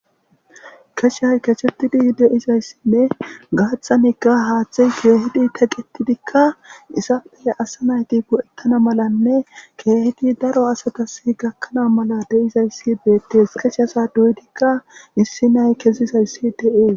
Keththay kexetidi deiza assinne gaaththanikka haaththay keehidi teqetidikka izappe asaa nayti go"etana malanne keehidi daro asatus gakkana mala deizayssi beettees. Qassi asa doyidikka issi na'ay kesida izi dees.